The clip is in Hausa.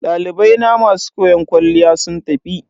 Dalibai na masu koyon kwalliya sun tafi.